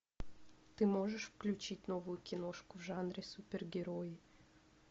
ты можешь включить новую киношку в жанре супергерои